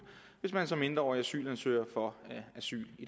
hvis man som mindreårig asylansøger får asyl i